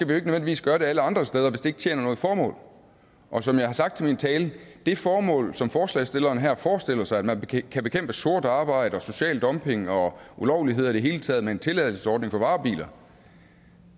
nødvendigvis gøre det alle andre steder hvis det ikke tjener noget formål og som jeg har sagt i min tale det formål som forslagsstillerne her forestiller sig med at man kan bekæmpe sort arbejde og social dumping og ulovligheder i det hele taget med en tilladelsesordning for varebiler